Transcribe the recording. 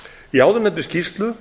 í áðurnefndri skýrslu